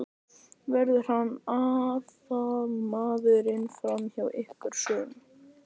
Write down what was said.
Verður hann aðalmaðurinn frammi hjá ykkur í sumar?